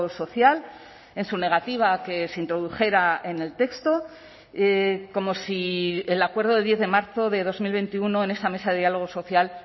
social en su negativa a que se introdujera en el texto como si el acuerdo de diez de marzo de dos mil veintiuno en esa mesa de diálogo social